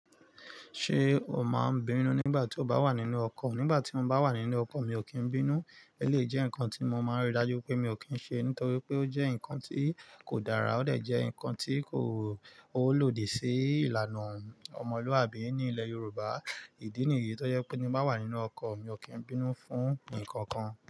Ṣé o máa ń bínú nígbà tí o bá wà nínú ọkọ̀? Nígbà tí mo bá wà nínú ọkọ̀ mi ò kí ń bínú. Elèeyi jẹ́ ǹkan tí mo máa ń rí dájú pé mi ò kí ń ṣe nítorí pé ó jẹ́ ǹkan tí kò dára, ó dè jẹ́ ǹkan tí kò ó lòdì sí ìlànà ọmọlúàbí ní ilẹ̀ Yorùbá. Ìdí nìyí tó jẹ́ pé tí mo bá wà nínú ọkọ̀ mi ò kí ń bínú fún ǹkankan.